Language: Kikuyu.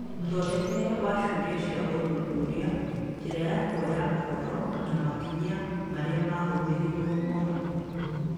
Mũthondekere wa ciũria cia ũthuthuria, njĩra ya kuoya ũhoro, na makinya marĩa mahũthĩrirwo onamo.